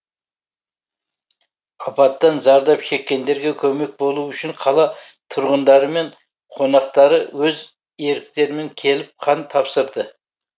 апаттан зардап шеккендерге көмек болу үшін қала тұрғындары мен қонақтары өз еріктерімен келіп қан тапсырды